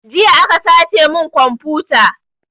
Jiya aka sace mun komfuta